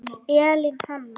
Elín Hanna.